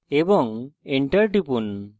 এবং enter টিপুন